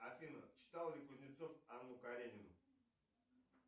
афина читал ли кузнецов анну каренину